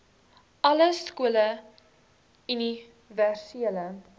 alle skole universele